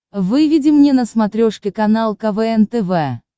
выведи мне на смотрешке канал квн тв